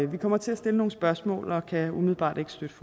vi kommer til at stille nogle spørgsmål og kan umiddelbart